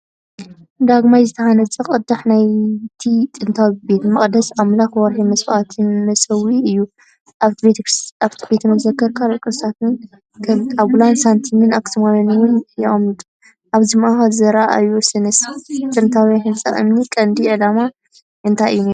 ዳግማይ ዝተሃንጸ ቅዳሕ ናይቲ ጥንታዊ ቤተ መቕደስ ኣምላኽ ወርሒ መስዋእቲ መሰውኢ እዩ። ኣብቲ ቤተ መዘክር ካልኦት ቅርስታት ከም ጣብላን ሳንቲም ኣኽሱማውያንን እውን የቐምጥ። ኣብቲ ማእኸል ዝረአዓቢ ስነ-ጥንታዊ ህንጻ እምኒ ቀንዲ ዕላማ እንታይ እዩ ነይሩ?